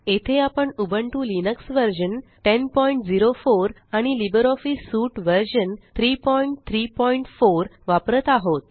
येथे आपण Ubuntu Linux version 1004 आणि लिबरऑफिस सूट वर्ज़न 334 वापरत आहोत